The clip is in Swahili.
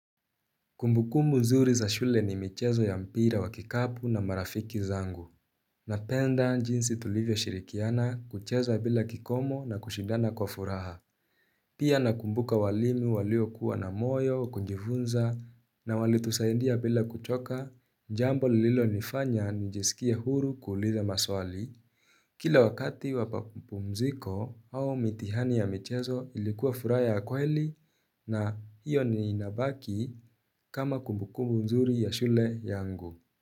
Kumbukumbu nzuri za shule ni michezo ya mpira wa kikapu na marafiki zangu. Napenda jinsi tulivyo shirikiana kucheza bila kikomo na kushidana kwa furaha. Pia nakumbuka walimu walio kuwa na moyo, kujifunza na walitusaidia bila kuchoka, jambo lililo nifanya nijisikia huru kuuliza maswali. Kila wakati wamapumziko au mitihani ya michezo ilikuwa furaha ya kweli na hiyo inabaki kama kumbukumbu nzuri ya shule yangu.